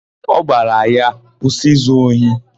Ọ gwara ya, "kwụsị izu ohi"!